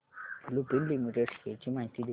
Lupin Limited shares ची माहिती दे